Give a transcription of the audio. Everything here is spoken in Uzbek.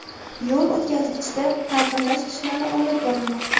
Yo‘l o‘tkazgichda ta’mirlash ishlari olib borilmoqda.